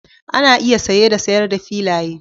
Ana iya saye da sayar da filaye